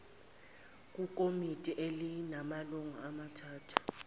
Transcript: kukomiti elinamalungu amathathu